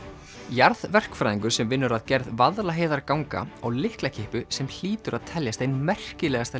jarðverkfræðingur sem vinnur að gerð Vaðlaheiðarganga á lyklakippu sem hlýtur að teljast ein merkilegasta